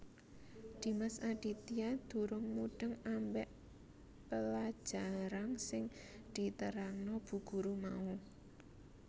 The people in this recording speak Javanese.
Dimas Aditya durung mudheng ambek pelajarang sing diterangno Bu Guru mau